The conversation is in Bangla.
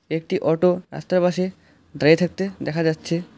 একটি অটো রাস্তার পাশে দাঁড়িয়ে থাকতে দেখা যাচ্ছে।